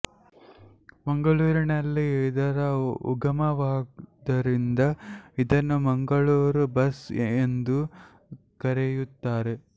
ಮಂಗಳೂರಿನಲ್ಲಿ ಇದರ ಉಗಮವಾದ್ದರಿಂದ ಇದನ್ನು ಮಂಗಳೂರು ಬನ್ಸ್ ಎಂದೂ ಕರೆಯುತ್ತಾರೆ